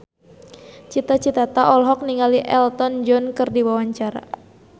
Cita Citata olohok ningali Elton John keur diwawancara